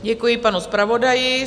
Děkuji panu zpravodaji.